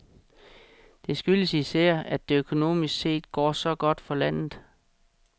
Det skyldes især, at det økonomisk set går så godt for landet.